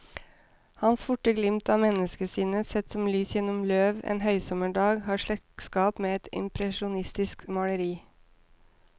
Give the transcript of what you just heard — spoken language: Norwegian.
Hans forte glimt av menneskesinnet, sett som lys gjennom løv en høysommerdag, har slektskap med et impresjonistisk maleri.